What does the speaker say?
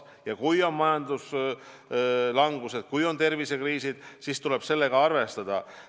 Ja kui on majanduslangus, kui on tervisekriis, siis tuleb sellega arvestada.